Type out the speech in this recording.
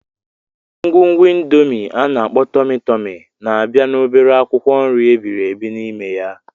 Ngwungwu Indomi ana-akpo Tomi-Tomi na-abịa na obere akwụkwọ nri ebibiri n'ime.